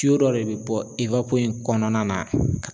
dɔ de be bɔ i ka ko in kɔnɔna na.